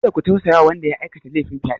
Kada ku tausaya wa wanda ya aikata lefin fyaɗe!